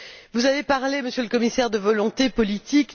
Vous avez parlé, Monsieur le Commissaire, de volonté politique.